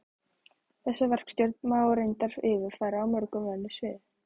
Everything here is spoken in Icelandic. Þessa verkstjórn má reyndar yfirfæra á mörg önnur svið.